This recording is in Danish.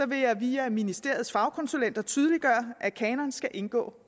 vil jeg via ministeriets fagkonsulenter tydeliggøre at kanonen skal indgå